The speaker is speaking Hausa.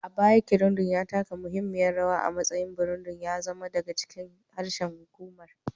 A baya, Kirundi ya taka muhimmiyar rawa a matsayin Burundi, ya zama daga cikin harshen hukumar'